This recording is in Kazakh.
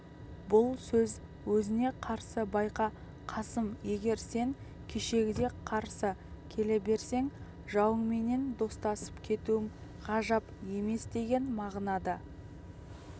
бұл сөз өзіне қарсы байқа қасым егер сен кешегідей қарсы келе берсең жауыңменен достасып кетуім ғажап емесдеген мағынада